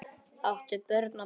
áttu börn og burur